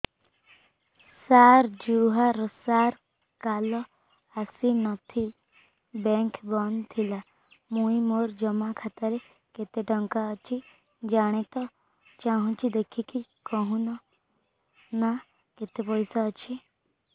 ସାର ଜୁହାର ସାର କାଲ ଆସିଥିନି ବେଙ୍କ ବନ୍ଦ ଥିଲା ମୁଇଁ ମୋର ଜମା ଖାତାରେ କେତେ ଟଙ୍କା ଅଛି ଜାଣତେ ଚାହୁଁଛେ ଦେଖିକି କହୁନ ନା କେତ ପଇସା ଅଛି